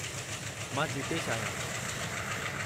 मां जीतेशु आहियां।